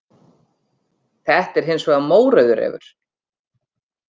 Þetta er hins vegar mórauður refur.